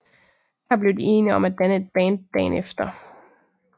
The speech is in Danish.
Her blev de enige om at danne et band dagen efter